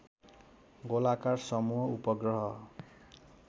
गोलाकार समूह उपग्रह